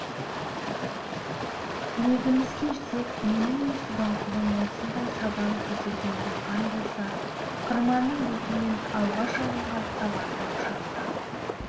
тілегімізге жетсек менің де субанқұлым осындай сабан көтерген диқан болса қырманның бетінен алғаш алынған сабанды құшақтап